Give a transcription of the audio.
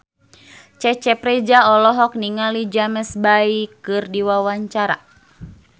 Cecep Reza olohok ningali James Bay keur diwawancara